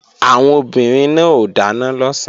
Àwọn obìnrin náà ó dáná lọ̀sán